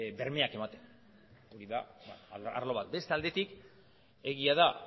bermeak ematen hori da arlo bat beste aldetik egia da